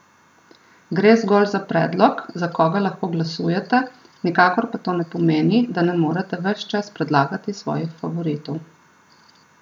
Gre zgolj za predlog, za koga lahko glasujete, nikakor pa to ne pomeni, da ne morete ves čas predlagati svojih favoritov!